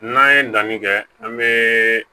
N'an ye danni kɛ an be